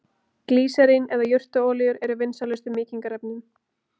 Glýserín eða jurtaolíur eru vinsælustu mýkingarefnin.